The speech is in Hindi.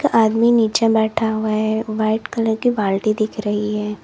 एक आदमी नीचे बैठा हुआ है व्हाइट कलर की बाल्टी दिख रही है।